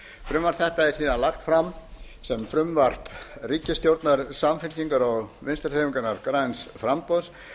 frumvarp þetta er síðan lagt fram sem frumvarp ríkisstjórnar samfylkingar og vinstri hreyfingarinnar græns framboðs